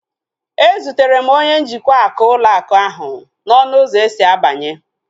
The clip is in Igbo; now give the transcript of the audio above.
E zutere m onye njikwa ụlọ akụ ahu n'ọnụ ụzọ esi abanye